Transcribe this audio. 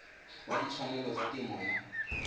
wa ditshwanelo tsa temo ya